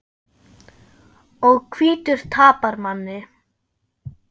Og hvítur tapar manni.